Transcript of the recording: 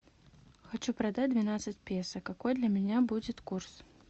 хочу продать двенадцать песо какой для меня будет курс